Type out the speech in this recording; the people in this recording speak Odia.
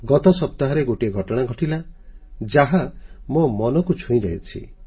ଗତ ସପ୍ତାହରେ ଗୋଟିଏ ଘଟଣା ଘଟିଲା ଯାହା ମୋ ମନକୁ ଛୁଇଁଯାଇଛି